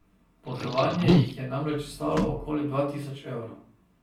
Potovanje jih je namreč stalo okoli dva tisoč evrov.